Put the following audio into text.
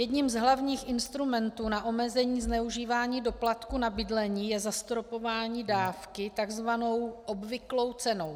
Jedním z hlavních instrumentů na omezení zneužívání doplatků na bydlení je zastropování dávky takzvanou obvyklou cenou.